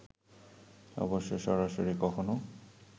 অবশ্য সরাসরি কখনো